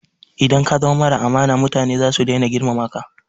Idan ka zama mara amana mutane zasu dai na girmama ka